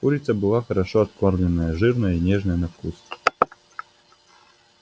курица была хорошо откормленная жирная и нежная на вкус